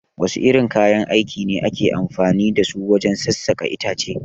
Wasu irin kayan aiki ne ake amfani dasu wajen sassaƙa itace?